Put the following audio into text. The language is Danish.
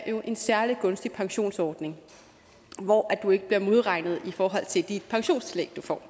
jo er en særlig gunstig pensionsordning hvor du ikke bliver modregnet i forhold til de pensionstillæg du får